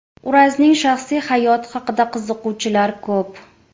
Urazning shaxsiy hayoti haqida qiziquvchilar ko‘p.